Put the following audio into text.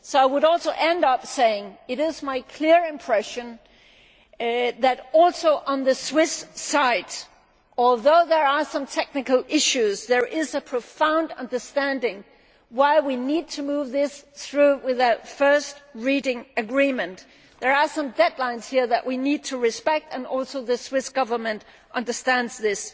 So I would end by saying that it is my clear impression that on the Swiss side too, although there are some technical issues, there is a profound understanding of why we need to move this through with a first reading agreement. There are some deadlines here that we need to respect, and the Swiss Government also understands this.